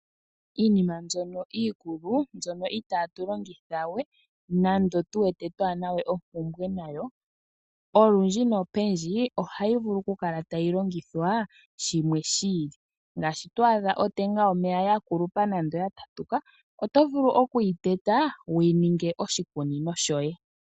Iinima mbyono iikulu mbyono itatu longitha we twaana ompumnwe nayo olundji nopendji ohayi